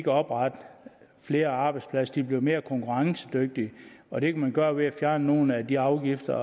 oprette flere arbejdspladser de bliver mere konkurrencedygtige og det kan man gøre ved at fjerne nogle af de afgifter